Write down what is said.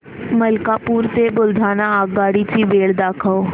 मलकापूर ते बुलढाणा आगगाडी ची वेळ दाखव